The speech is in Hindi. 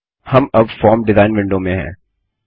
हम अब फॉर्म डिजाइन विंडो में हैं